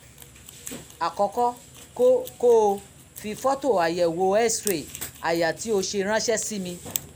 àkọ́kọ́ kó kó o fi fọ́tò àyẹ̀wò x-ray àyà tí o ṣe ránṣẹ́ sí mi